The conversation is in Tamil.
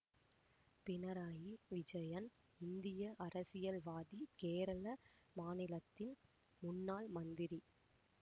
பிணறாயி விஜயன் இந்திய அரசியல்வாதி கேரள மாநிலத்தின் முன்னாள் மந்திரி